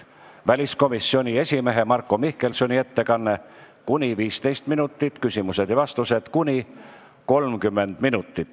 Järgneb väliskomisjoni esimehe Marko Mihkelsoni ettekanne, kuni 15 minutit, siis küsimused ja vastused, kuni 30 minutit.